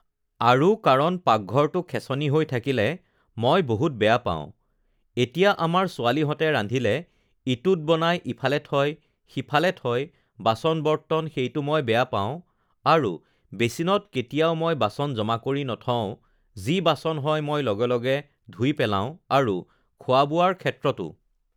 আৰু কাৰণ পাকঘৰটো খেছনি হৈ থাকিলে মই বহুত বেয়া পাওঁ এতিয়া আমাৰ ছোৱালীহঁতে ৰান্ধিলে ইটোত বনাই ইফালে থয় সিফালে থয় বাচন-বৰ্তন সেইটো মই বেয়া পাওঁ আৰু বেচিনত কেতিয়াও মই বাচন জমা কৰি নথওঁ যি বাচন হয় মই লগে লগে ধুই পেলাওঁ আৰু খোৱা-বোৱাৰ ক্ষেত্ৰতো